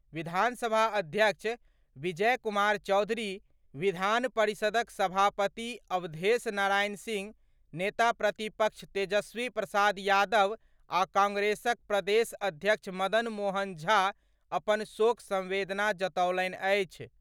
विधानसभा अध्यक्ष विजय कुमार चौधरी, विधान परिषदक सभापति अवधेश नारायण सिंह, नेता प्रतिपक्ष तेजस्वी प्रसाद यादव आ कांग्रेसक प्रदेश अध्यक्ष मदन मोहन झा अपन शोक संवेदना जतौलनि अछि।